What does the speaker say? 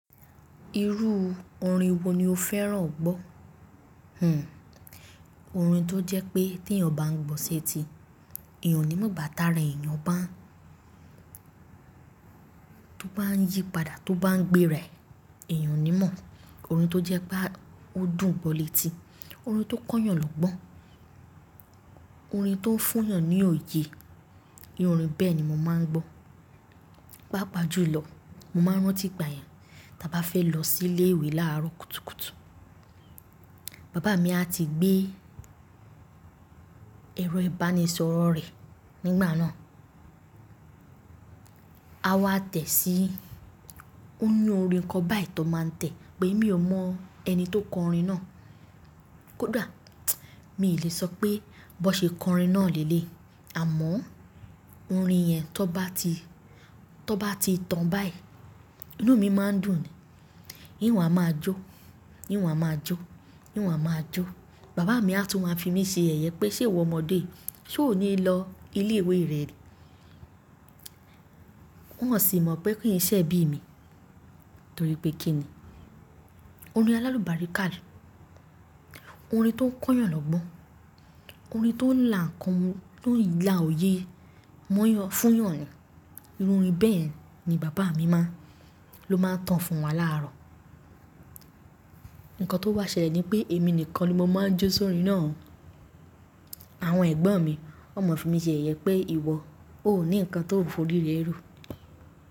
Irú orin wo ni o fẹ́ràn gbọ́? Hmm orin tó jẹ́ pé tí èèyàn bá ń gbọ́ sí etí, èèyàn ní mọ̀ bàtà rẹ̀. Èèyàn bá ń, tó bá ń yípadà tó bá ń gbé rẹ̀, èèyàn ní mọ̀. Orin tó jẹ́ pé ó dùn gbọ́ létí, orin tó kán yàn lọ́gbọ́n, orin tó fún yàn ní òye. Irú orin bẹ́ẹ̀ ni mo máa ń gbọ́. Pápa ju ìlọ̀, mo máa ń rántí ìgbà yẹn. Taa bá fẹ́ lọ sí ilé ìwé láàárọ̀ kùtùkùtù, bàbá mi a ti gbé ẹ̀rọ ìbánisọ̀rọ̀ rẹ̀ nígbà náà. A wá tẹ̀ sí, ó ní orin kan báyìí tó máa tẹ̀ pé mi ò mọ ẹni tó kọ orin náà. Kódà mi ò lè sọ pé bó ṣe kọ orin náà lẹ́ẹ́ lẹ́lẹ̀yi, àmọ́ orin yẹn tó bá ti, tó bá ti tán báyìí, inú mi máa ń dùn ni. Í hun á máa jó, í hun á máa jó, í hun á máa jó. Bàbá mi a tún máa fi mí ṣe ẹ̀yẹ pé ṣé ìwọ ọmọdé yìí, ṣé o ní lọ ilé ìwé rẹ ní? Wọ́n sì mọ̀ pé kí n ṣe ebí mi torí pé kí ni? Orin alalubarika ni, orin tó ń kán yàn lọ́gbọ́n, orin tó ń là ń kan mú, tó ń là oyé, móyàn fún yàn ni. Irú orin bẹ́ẹ̀ ni bàbá mi máa ń, ló máa ń tan fún wa láàárọ̀. Ǹkan tó bá ṣẹlẹ̀ ni pé èmi nìkan ni mo máa ń jó sórin náà o. Àwọn ẹ̀gbọ́n mi, wọ́n máa ń fi mí ṣe ẹ̀yẹ pé ìwọ ó ní nǹkan tó ń forí rẹ ro.